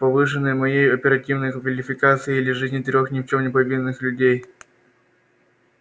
повышеной моей оперативной квалификации или жизни трёх ни в чём не повинных людей